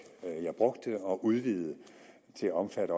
jeg brugte og udvidede til også at